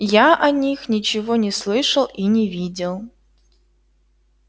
я о них ничего не слышал и не видел